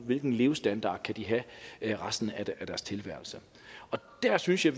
hvilken levestandard de kan have resten af deres tilværelse der synes jeg